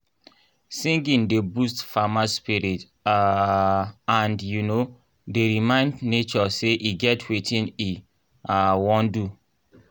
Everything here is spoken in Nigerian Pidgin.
singing dey boost farmer spirit um and um dey remind nature say e get wetin e um wan do.